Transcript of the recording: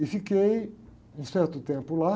E fiquei um certo tempo lá.